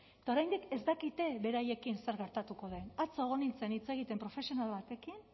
eta oraindik ez dakite beraiekin zer gertatuko den atzo egon nintzen hitz egiten profesional batekin